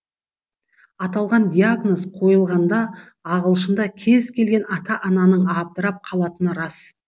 аталған диагноз қойылғанда алғашында кез келген ата ананың абдырап қалатыны рас